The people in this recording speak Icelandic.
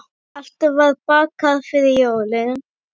Alltaf var bakað fyrir jólin.